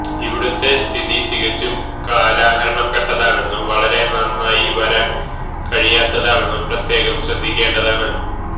ഇവിടുത്തെ സ്ഥിതി തികച്ചും കാലഹരണപ്പെട്ടതാണെന്നും വളരെ നന്നായി വരാൻ കഴിയാത്തതാണെന്നും പ്രത്യേകം ശ്രദ്ധിക്കേണ്ടതാണ്